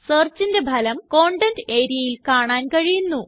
സെർച്ചിന്റെ ഫലം കണ്ടെന്റ് areaയിൽ കാണാൻ കഴിയുന്നു